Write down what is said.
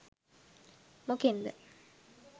මොකෙන්ද